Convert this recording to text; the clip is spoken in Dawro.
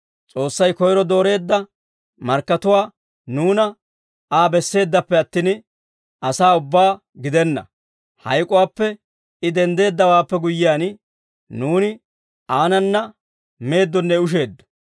S'oossay koyro dooreedda markkatuwaa nuuna, Aa besseeddappe attin, asaa ubbaa gidenna; hayk'uwaappe I denddeeddawaappe guyyiyaan, nuuni aanana meeddonne usheeddo.